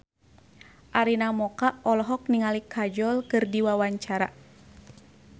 Arina Mocca olohok ningali Kajol keur diwawancara